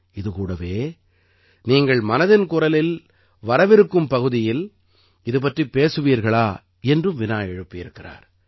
இது கூடவே நீங்கள் மனதின் குரலின் வரவிருக்கும் பகுதியில் இது பற்றிப் பேசுவீர்களா என்றும் வினா எழுப்பியிருக்கிறார்